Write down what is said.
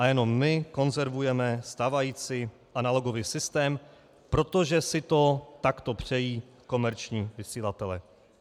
A jenom my konzervujeme stávající analogový systém, protože si to takto přejí komerční vysílatelé.